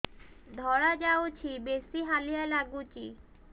ଧଳା ଯାଉଛି ବେଶି ହାଲିଆ ଲାଗୁଚି